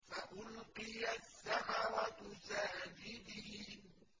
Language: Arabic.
فَأُلْقِيَ السَّحَرَةُ سَاجِدِينَ